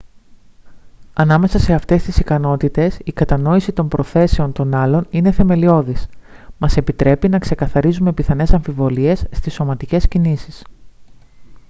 ανάμεσα σε αυτές τις ικανότητες η κατανόηση των προθέσεων των άλλων είναι θεμελιώδης μας επιτρέπει να ξεκαθαρίζουμε πιθανές αμφιβολίες στις σωματικές κινήσεις